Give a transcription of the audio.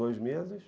Dois meses.